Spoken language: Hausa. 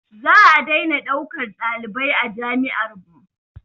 Za a daina ɗaukan ɗalibai a jami'ar mu